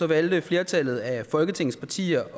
valgte flertallet af folketingets partier